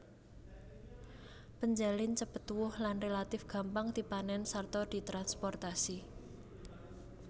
Penjalin cepet tuwuh lan relatif gampang dipanèn sarta ditransprotasi